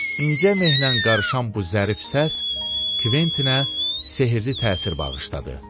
İncə meh ilə qarışan bu zərif səs Kventinə sehrli təsir bağışladı.